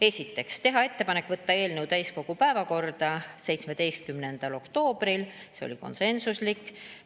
Esiteks, teha ettepanek võtta eelnõu täiskogu päevakorda 17. oktoobril, see otsus oli konsensuslik.